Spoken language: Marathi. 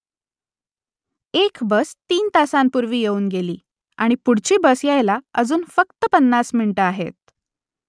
एक बस तीन तासांपूर्वी येऊन गेली आणि पुढची बस यायला अजून फक्त पन्नास मिनिटं आहेत